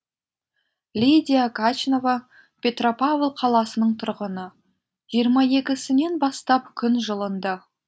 лидия качнова петропавл қаласының тұрғыны жиырма екісінен бастап күн жылынды